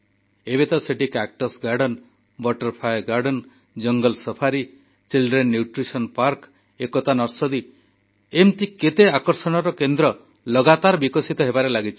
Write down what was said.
ଏବେତ ସେଠି cactus garden butterfly garden ଜଙ୍ଗଲ ସଫାରୀ ଶିଶୁ ପୋଷଣ ଉଦ୍ୟାନ ଏକତା ନର୍ସରୀ ଇତ୍ୟାଦି ଏମିତି କେତେ ଆକର୍ଷଣର କେନ୍ଦ୍ର ଲଗାତାର ବିକଶିତ ହେବାରେ ଲାଗିଛି